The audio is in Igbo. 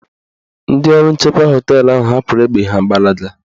Ndị ọrụ nchekwa họteelụ ahụ hapụrụ egbe ha gbalaga